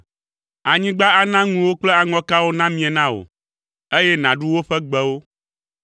Anyigba ana ŋuwo kple aŋɔkawo namie na wò, eye nàɖu woƒe gbewo.